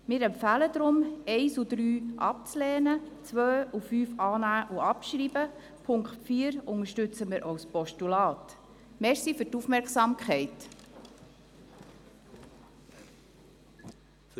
Wir empfehlen deshalb, die Punkte 1 und 3 abzulehnen sowie die Punkte 2 und 5 anzunehmen und abzuschreiben.